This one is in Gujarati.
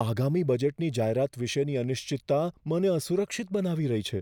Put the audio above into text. આગામી બજેટની જાહેરાત વિષેની અનિશ્ચિતતા મને અસુરક્ષિત બનાવી રહી છે.